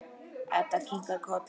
Edda kinkar kolli, alveg viss.